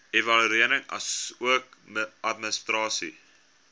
evaluering asook administrasie